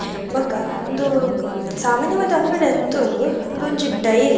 ಬೊಕ ಉಂದು ಸಾಮನ್ಯವಾದ ಅಂಗಡಿ ಅತ್ತ್ ಉಂದು ಉಂದೊಂಜಿ ಡೈರಿ --